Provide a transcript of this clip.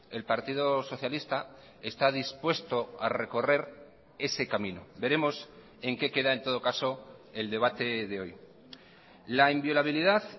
el partido socialista está dispuesto a recorrer ese camino veremos en que queda en todo caso el debate de hoy la inviolabilidad